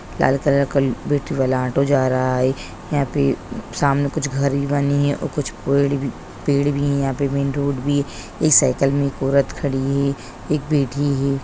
लाल colour का battery वाला auto जा रहा है यहाँ पे सामने कुछ घरी बनी है और कुछ भी पेड़ भी है यहाँ पे मैन रोड भी है इस साइकिल में एक औरत खड़ी है एक बैठी है।